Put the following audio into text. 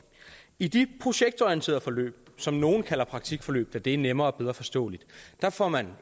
i de projektorienterede forløb som nogle kalder praktikforløb da det er nemmere og bedre forståeligt får man